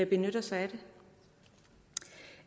benytter sig